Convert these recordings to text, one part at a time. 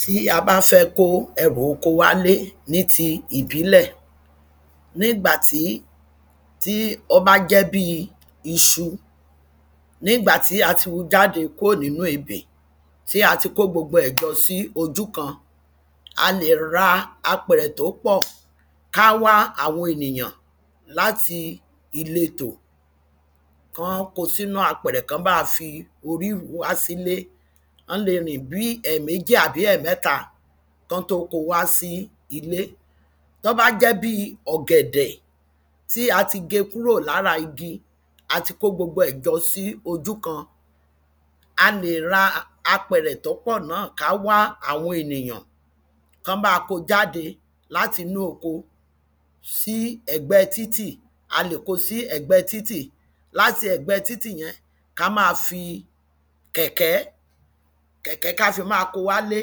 tí a báfẹ́ kó ẹrù oko wálé ní ti ìbílẹ̀, ní ìgbà tí, tí ó bá jẹ́ bíi iṣu ní ìgbà tí a ti wu jáde kúò nínú ebè, tí a ti kó gbogbo ẹ̀ jọ sí ojú kan, a lè ra apẹ̀rẹ̀ tó pọ̀, ká wá àwọn ènìyàn láti ìletò, kán ko sínú apẹ̀rẹ̀ kán bá wa fí orí ruú wá sílé, wọ́n lè rìn bíí ẹ̀ẹ̀méjì àbí ẹ̀ẹ̀mẹ́ta kán tó ko wá sí ilé. tó bá jẹ́ bíi ọ̀gbẹ̀dẹ̀ tí a ti ge kúrò lára igi, ati kó gbogbo ẹ̀ jọ sí ojú kan, a lè ra apẹ̀rẹ̀ tó pọ̀ náà, ká wá àwọn ènìyàn kán bá wa ko jáde látinú oko sí ẹ̀gbẹ́ẹ títì. a lè ko sí ẹ̀gbẹ́ẹ títì, láti ẹ̀gbẹ́ẹ títì yẹn, ká máa fi kẹ̀kẹ́, kẹ̀kẹ́ ká fi máa ko wálé,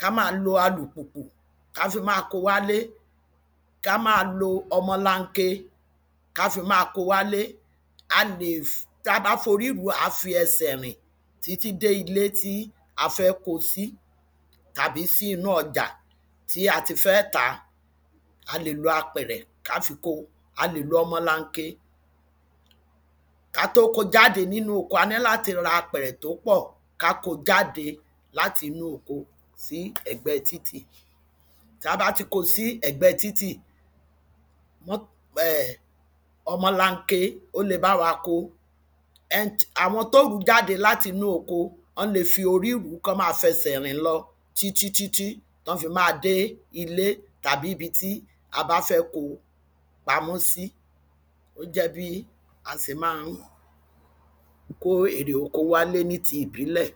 ká máa lo alùpùpù, ká fi máa ko wálé, ká máa lo ọmọlanke, ká fi máa ko wálé, a lè, tabá forí rùú, àá fi ẹsẹ̀ rìn títí dé ilé tí a fẹ́ ko sí, tàbí sí inú ọjà ta ti fẹ́ tàa, a lè lo apẹ̀rẹ̀ ká fi kóo, a lè lo ọmọlanke. ka tó ko jáde nínú oko, a ní láti ra apẹ̀rẹ̀ tó pọ̀, ká ko jáde látinú oko sí ẹ̀gbẹ́ẹ títì. tába ti ko sí ẹ̀gbẹ́ẹ títì, ọmọlanke, ó le bá wa ko. ẹni, àwọn tó rùú jáde látinú oko, wọ́n le fí orí rùú kán ma fẹsẹ̀ rìn lọ títítítí tán fi máa dé ilé, tàbí ibi tí a bá fẹ ko pamọ́ sí. ó jẹ́ bí a se máa ń kó èrè oko wálé ní ti ìbílẹ̀.